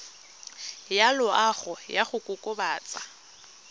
ya loago ya go kokobatsa